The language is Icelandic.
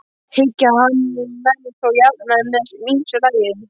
Hyggi hann menn þó jafnan en með ýmsu lagi.